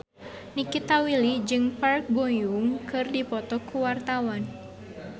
Nikita Willy jeung Park Bo Yung keur dipoto ku wartawan